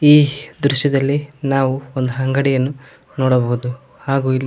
ಈ ದೃಶ್ಯದಲ್ಲಿ ನಾವು ಒಂದು ಅಂಗಡಿಯನ್ನು ನೋಡಬಹುದು ಹಾಗು ಇಲ್ಲಿ--